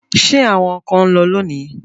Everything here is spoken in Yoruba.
Ṣé àwọn ọkọ ń lọ lónìí?